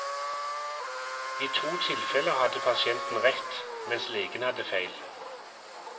I to tilfeller hadde pasienten rett, mens legen hadde feil.